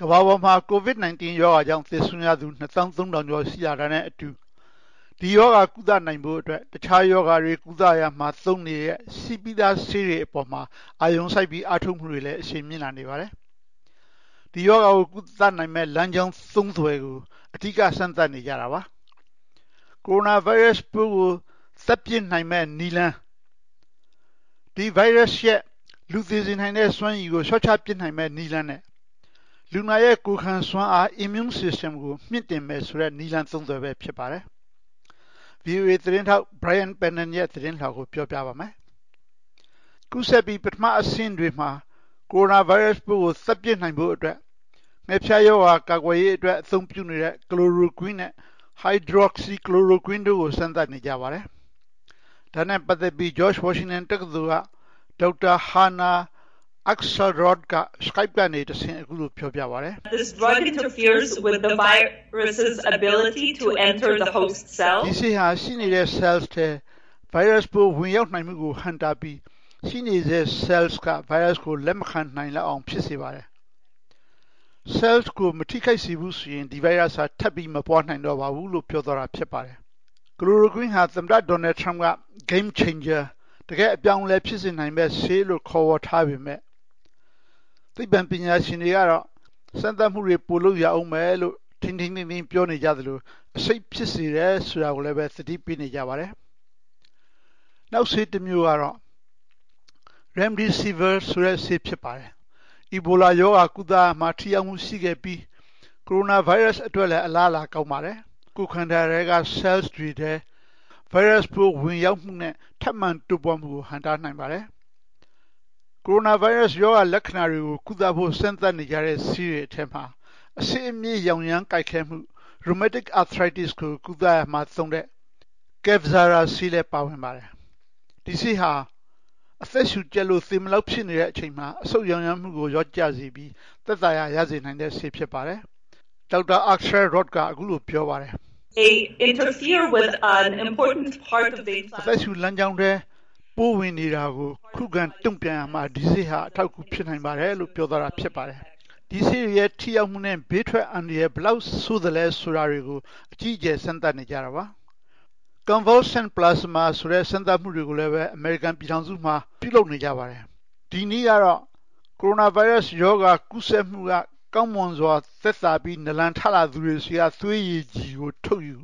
ကမ္ဘာပေါ်မှာ COVID-19 ရောဂါကြောင့် သေဆုံးရသူ ၂၃၀၀၀ ကျော် ရှိလာတာနဲ့အတူ ဒီရောဂါ ကုသနိုင်ဖို့အတွက် တခြားရောဂါတွေ ကုသရာမှာ သုံးနေတဲ့ ရှိပြီးသားဆေးတွေ အပေါ်မှာ အာရုံစိုက်ပြီး အားထုတ်မှုတွေလည်း အရှိန်မြင့်လာနေပါတယ်။ ဒီရောဂါကို ကုသနိုင်မယ့် လမ်းကြောင်းသုံးသွယ်ကို အဓိက စမ်းသပ်နေကြတာပါ။ ကိုရိုနာဗိုင်းရပ်စ်ပိုးကို သတ်ပစ်နိုင်မယ့်နည်းလမ်း၊ ဒီဗိုင်းရပ်စ်ရဲ့ လူသေစေနိုင်တဲ့ စွမ်းရည်ကို လျှော့ချပစ်နိုင်မယ့် နည်းလမ်းနဲ့ လူနာရဲ့ ကိုယ်ခံစွမ်းအား Immune System ကို မြှင့်တင်မယ်ဆိုတဲ့ နည်းလမ်းသုံးသွယ်ပဲ ဖြစ်ပါတယ်။ ဗွီအိုအေသတင်းထောက် Brian Padden ရဲ့ သတင်းလွှာကို ဦးကျော်ဇံသာ တင်ဆက်ပေးထားပါတယ်။ ကူးစက်ပြီး ပထမအဆင့်တွေမှာ ကိုရိုနာဗိုင်းရပ်စ်ပိုးကို သတ်ပစ်နိုင်ဖို့အတွက် ငှက်ဖျားရောဂါ ကာကွယ်ရေးအတွက် အသုံးပြုနေတဲ့ Chloroquine နဲ့ Hydroxychloroquine တို့ကို စမ်းသပ်နေကြပါတယ်။ ဒါနဲ့ပတ်သက်ပြီး George Washington တက္ကသိုလ်က ဒေါက်တာ Hana Akselrod က Skype ကနေတဆင့် အခုလိုပြောပြပါတယ်။ “ဒီဆေးဟာ ရှိနေတဲ့ဆဲလ်ထဲ ဗိုင်းရပ်စ်ပိုး ဝင်ရောက်နိုင်မှုကို ဟန့်တားပြီး ရှိနေတဲ့ ဆဲလ်က ဗိုင်းရပ်စ်ကို လက်မခံနိုင်လောက်အောင် ဖြစ်စေပါတယ်။ ဆဲလ်ကို မထိခိုက်စေဘူးဆိုရင် ဒီဗိုင်းရပ်စ်ဟာ ထပ်ပြီး မပွားနိုင်တော့ပါဘူး။” Chloroquine ဟာ သမ္မတ Donald Trump က Game Changer တကယ့် အပြောင်းအလဲ ဖြစ်စေနိုင်မယ့်ဆေးလို့ ခေါ်ဝေါ်ထားပေမယ့် သိပ္ပံပညာရှင်တွေကတော့ စမ်းသပ်မှုတွေ ပိုလုပ်ရဦးမယ်လို့ ထိန်းထိန်းသိမ်းသိမ်း ပြောနေကြသလို အဆိပ်ဖြစ်စေတယ် ဆိုတာကိုလည်း သတိပေးနေကြပါတယ်။ နောက်ဆေးတမျိုးကတော့ Remdesivir ဆေး ဖြစ်ပါတယ်။ အီဘိုလာရောဂါ ကုသရာမှာ ထိရောက်မှုရှိခဲ့ပြီး ကိုရိုနာဗိုင်းရပ်စ်အတွက်လည်း အလားအလာ ကောင်းပါတယ်။ ကိုယ်ခန္ဓာထဲက ဆဲလ်တွေထဲ ဗိုင်းရပ်စ်ပိုး ဝင်ရောက်မှုနဲ့ ထပ်မံတိုးပွားမှုကို ဟန့်တားနိုင်ပါတယ်။ ကိုရိုနာဗိုင်းရပ်စ် ရောဂါလက္ခဏာတွေကို ကုသဖို့ စမ်းသပ်နေကြတဲ့ ဆေးတွေထဲမှာ အဆစ်အမြစ် ရောင်ရမ်းကိုက်ခဲမှု Rheumatoid Arthritis ကို ကုသရာမှာသုံးတဲ့ Kevzara ဆေးလည်း ပါဝင်ပါတယ်။ ဒီဆေးဟာ အသက်ရှူကျပ်လို့ သေမလောက်ဖြစ်နေတဲ့ အချိန်မှာ အဆုတ်ရောင်ရမ်းမှုကို လျော့ကျစေပြီး သက်သာရာ ရစေနိုင်တဲ့ဆေး ဖြစ်ပါတယ်။ ဒေါက်တာ Akselrod က အခုလိုပြောပါတယ်။ “အသက်ရှူလမ်းကြောင်းထဲ ပိုးဝင်နေတာကို ခုခံ တုံ့ပြန်ရာမှာ ဒီဆေးဟာ အထောက်အကူ ဖြစ်နိုင်ပါတယ်။” ဒီဆေးတွေရဲ့ ထိရောက်မှုနဲ့ ဘေးထွက်အန္တရာယ် ဘယ်လောက်ဆိုးသလဲ ဆိုတာတွေကို အကြီးအကျယ် စမ်းသပ်နေကြတာပါ။ Convalescent plasma ဆိုတဲ့ စမ်းသပ်မှုတွေကိုလည်း အမေရိကန်ပြည်ထောင်စုမှာ ပြုလုပ်နေကြပါတယ်။ ဒီနည်းကတော့ ကိုရိုနာဗိုင်းရပ်စ်ရောဂါ ကူးစက်မှုက ကောင်းမွန်စွာ သက်သာပြီး နာလန်ထလာသူတွေဆီက သွေးရည်ကြည်ကို ထုတ်ယူ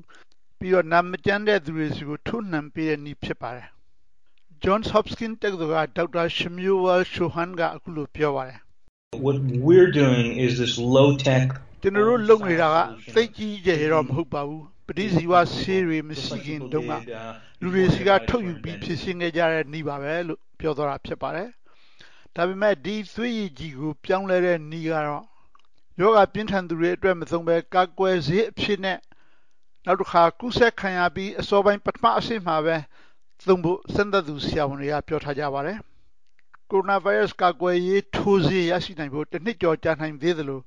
ပြီးတော့ နာမကျန်းတဲ့ သူတွေဆီကို ထိုးနံှပေးတဲ့နည်း ဖြစ်ပါတယ်။ Johns Hopkins တက္ကသိုလ်က ဒေါက်တာ Shmuel Shoham က အခုလိုပြောပါတယ်။ “ကျနော်တို့ လုပ်နေတာက သိပ်ကြီးကြီးကျယ်ကျယ်တော့ မဟုတ်ပါဘူး။ ပဋိဇီဝဆေးတွေ မရှိခင်တုန်းက လူတွေဆီက ထုတ်ယူပြီး ဖြေရှင်းနေကြတဲ့ နည်းပါပဲ။” ဒါပေမယ့် ဒီသွေးရည်ကြည်ကို ပြောင်းလဲတဲ့နည်းကတော့ ရောဂါပြင်းထန်သူတွေအတွက် မသုံးဘဲ ကာကွယ်ဆေးအဖြစ်နဲ့၊ နောက်တခါ ကူးစက်ခံရပြီး အစောပိုင်း ပထမအဆင့်မှာပဲ သုံးဖို့ စမ်းသပ်သူ ဆရာဝန်တွေက ပြောထားကြပါတယ်။ ကိုရိုနာဗိုင်းရပ်စ် ကာကွယ်ရေး ထိုးဆေးရရှိနိုင်ဖို့ တနှစ်ကျော် ကြာနိုင်သေးသလို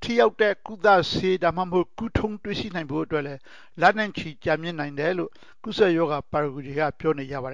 ထိရောက်တဲ့ ကုသဆေး ဒါမှမဟုတ် ကုထုံး တွေ့ရှိနိုင်ဖို့အတွက်လည်း လနဲ့ချီ ကြာမြင့်နိုင်တယ်လို့ ကူးစက်ရောဂါ ပါရဂူတွေက ပြောနေကြပါ